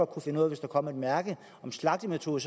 kunne finde ud af hvis der kom et mærke med slagtemetode